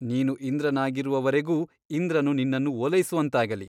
ನೀನು ಇಂದ್ರನಾಗಿರುವವರೆಗೂ ಇಂದ್ರನು ನಿನ್ನನ್ನು ಓಲೈಸುವಂತಾಗಲಿ.